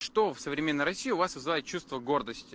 что в современной россии у вас вызывает чувство гордости